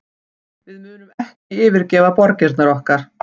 Við munum ekki yfirgefa borgirnar okkar